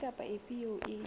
efe kapa efe eo e